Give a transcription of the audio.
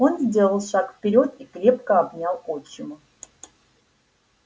он сделал шаг вперёд и крепко обнял отчима